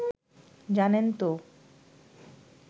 জানেন তো